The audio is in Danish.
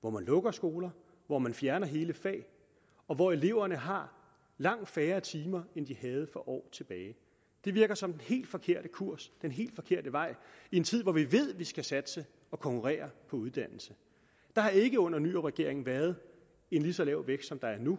hvor man lukker skoler hvor man fjerner hele fag og hvor eleverne har langt færre timer end de havde for år tilbage det virker som den helt forkerte kurs den helt forkerte vej i en tid hvor vi ved at vi skal satse og konkurrere på uddannelse der har ikke under nyrupregeringen været en lige så lav vækst som der er nu